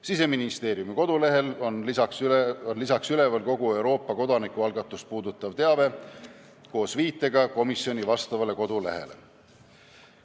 Siseministeeriumi kodulehel on üleval kogu Euroopa kodanikualgatust puudutav teave koos viitega komisjoni vastavale kodulehele.